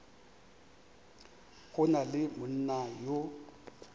go na le monna yo